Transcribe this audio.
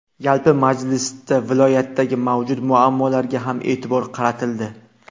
Yalpi majlisda viloyatdagi mavjud muammolarga ham e’tibor qaratildi.